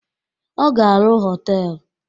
Ọ ga arụ họtelu